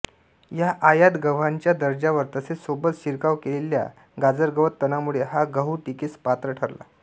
ह्या आयात गव्हाच्या दर्जावर तसेच सोबत शिरकाव केलेल्या गाजरगवत तणामुळे हा गहू टीकेस पात्र ठरला